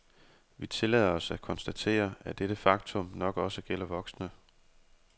Vi tillader os at konstatere, at dette faktum nok også gælder voksne.